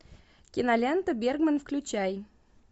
кинолента берман включай